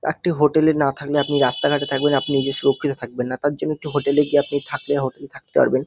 একটি হোটেল -এ না থাকলে আপনি রাস্তা ঘাটে থাকবেন আপনি নিজে সুরক্ষিত থাকবেন না। তার জন্য একটি হোটেল -এ গিয়ে আপনি থাকলে হোটেল -এ থাকতে পারবেন।